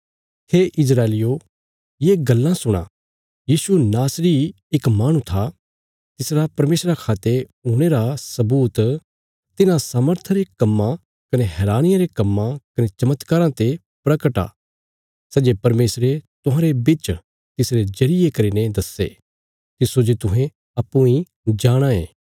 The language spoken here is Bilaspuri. हे इस्राएलियो ये गल्लां सुणा यीशु नासरी इक माहणु था तिसरा परमेशरा खा ते हुणे रा सबूत तिन्हां सामर्था रे कम्मा कने हैरानिया रे कम्मां कने चमत्काराँ ते परगट आ सै जे परमेशरे तुहांरे बिच तिसरे जरिये करीने दस्से तिस्सो जे तुहें अप्पूँ इ जाणाँ ये